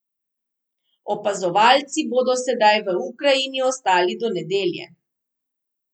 Opazovalci bodo sedaj v Ukrajini ostali do nedelje.